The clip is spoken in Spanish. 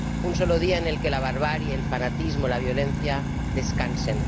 un solo día en el que la barbarie, el fanatismo, la violencia descansen.